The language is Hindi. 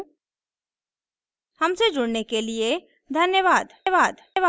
हमसे जुड़ने के लिए धन्यवाद